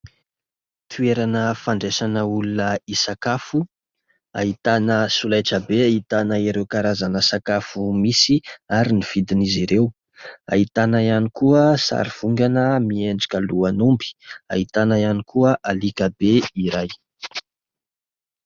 Toerana fandraisana olona hisakafo : ahitana solaitra be ahitana ireo karazana sakafo misy ary ny vidin'izy ireo, ahitana ihany koa sary vongana miendrika lohan'omby, ahitana ihany koa alika be iray.